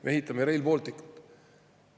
Me ehitame Rail Balticut!